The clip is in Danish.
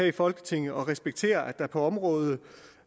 i folketinget og respektere at området